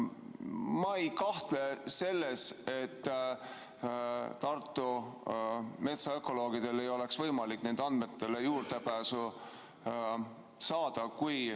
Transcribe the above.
Ma ei kahtle selles, et Tartu metsaökoloogidel ei oleks võimalik nendele andmetele juurdepääsu saada.